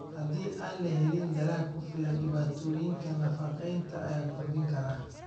Haddii aan la helin dalag ku filan, dhibaatooyinka nafaqeynta ayaa kordhin kara.